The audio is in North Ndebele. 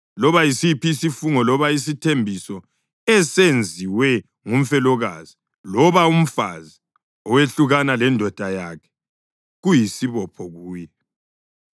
Loba yisiphi isifungo loba isithembiso esenziwe ngumfelokazi loba umfazi owehlukana lendoda yakhe kuyisibopho kuye.